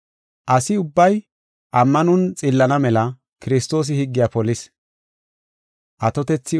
Asi ubbay ammanon xillana mela Kiristoosi higgiya polis.